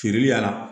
Kiirili y'a la